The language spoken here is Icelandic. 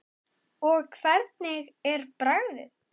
Og hvernig er bragðið?